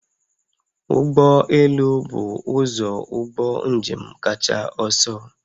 Ụgbọ elu bụ ụzọ ụgbọ njem kacha ọsọ